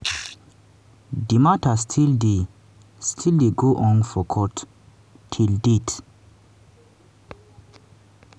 di mata still dey still dey go on for court till date.